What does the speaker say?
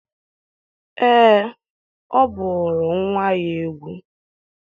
ee, ọ bụụrụ nwa ya egwu egwu.